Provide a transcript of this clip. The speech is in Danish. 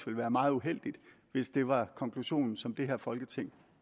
være meget uheldigt hvis det var konklusion som det her folketing